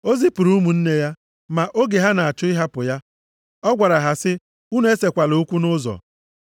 O zipụrụ ụmụnne ya. Ma oge ha na-achọ ịhapụ ya, ọ gwara ha sị, “Unu esekwala okwu nʼụzọ.”